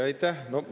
Aitäh!